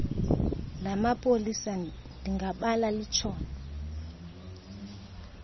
lamapolisa ndingabala litshone